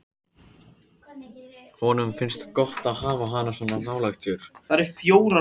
Honum finnst gott að hafa hana svona nálægt sér.